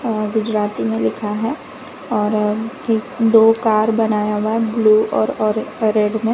और गुजराती में लिखा है और एक दो कार बनाया हुआ है ब्लू और और रेड में।